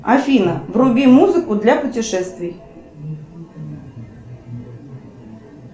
афина вруби музыку для путешествий